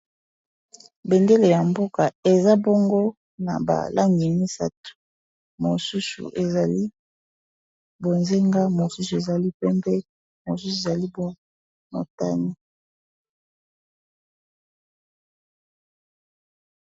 Bendele ya mboka eza bongo na balangi misatu mosusu ezali bozenga, mosusu ezali pembe, mosusu ezali motane.